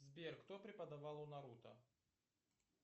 сбер кто преподавал у наруто